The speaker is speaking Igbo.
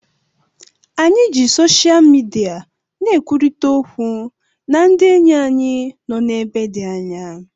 Anyị ji sosha midia na-ekwurịta okwu na ndị enyi anyị nọ n'ebe dị anya